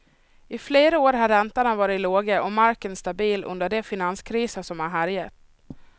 I flera år har räntorna varit låga och marken stabil under de finanskriser som härjat.